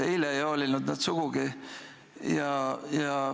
Eile ei hoolinud nad sugugi.